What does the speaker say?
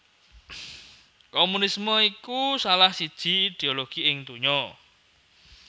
Komunisme iku salah siji ideologi ing donya